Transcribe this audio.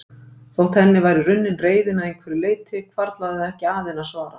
Þótt henni væri runnin reiðin að einhverju leyti hvarflaði það ekki að henni að svara.